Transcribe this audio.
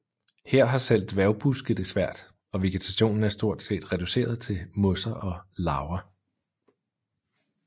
Her har selv dværgbuske det svært og vegetationen er stort set reduceret til mosser og laver